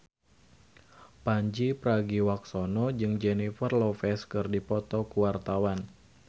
Pandji Pragiwaksono jeung Jennifer Lopez keur dipoto ku wartawan